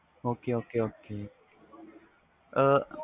ok ok ok